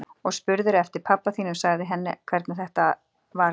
Og spurðirðu eftir pabba þínum. sagðirðu henni hvernig þetta var allt?